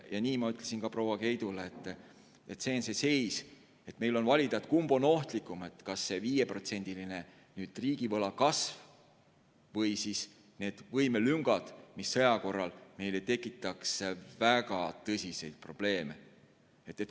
Nii ma ütlesin ka proua Keidule, et see on see seis ja meil on valida, kumb on ohtlikum, kas see 5%-line riigivõla kasv või need võimelüngad, mis sõja korral tekitaks meile väga tõsiseid probleeme.